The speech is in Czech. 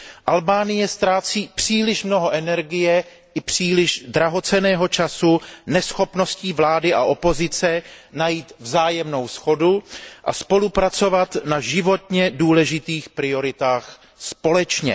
Albánie ztrácí příliš mnoho energie, příliš drahocenného času neschopností vlády a opozice najít vzájemnou shodu a spolupracovat na životně důležitých prioritách společně.